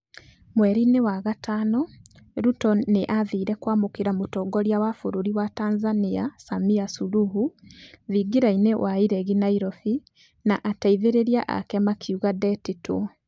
Mweri-inĩ wa gatano, Ruto nĩ aathire kũamũkĩra mũtongoria wa bũrũri wa Tanzania, Samia Suluhu, tingira-ini wa iregi, Nairobi, na ateithĩrĩria ake makiuga ndetĩtwo.